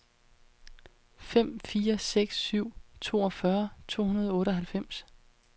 fem fire seks syv toogfyrre to hundrede og otteoghalvfems